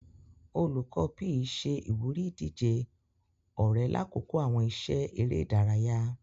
Olukọni PE ṣe ìwúrí ìdíje ọrẹ lakoko awọn iṣẹ eré ìdárayá.